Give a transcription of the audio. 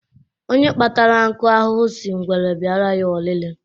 Onye kpatara nkụ ahụhụ sị ngwere bịara ya ọlịlị.